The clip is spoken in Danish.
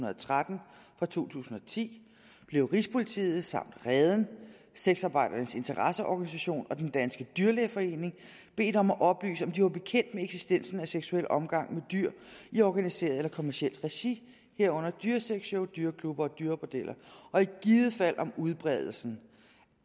og tretten fra to tusind og ti blev rigspolitiets samt reden sexarbejdernes interesseorganisation og den danske dyrlægeforening bedt om at oplyse om de var bekendt med eksistensen af seksuel omgang med dyr i organiseret eller kommercielt regi herunder dyresexshow dyreklubber og dyrebordeller og i givet fald om udbredelsen